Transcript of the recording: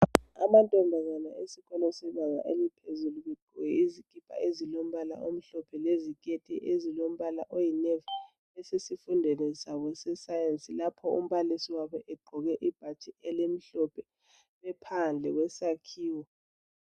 Amantombazana esikolo sebanga eliphezulu begqoke izikipa ezilombala omhlophe leziketi ezilombala oyinevi. Basesifundweni sabo se Sayensi lapho umbalisi wabo egqoke ibhatshi elimhlophe , ephandle kwesakhiwo.